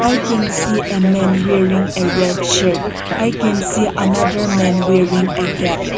I can see a men wearing a red shirt I can see another men wearing a cap.